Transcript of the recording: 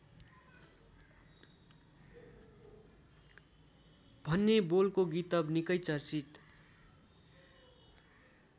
भन्ने बोलको गीतव निकै चर्चित